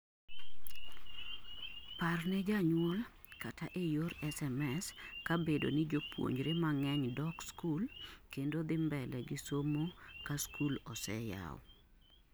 parne janyuol kata ee yor SMS ka bedo ni jopuonjre mang'eny dok skul kendo dhi mbele gi somo ka skul ose yaw